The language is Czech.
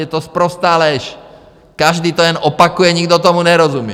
Je to sprostá lež, každý to jen opakuje, nikdo tomu nerozumí.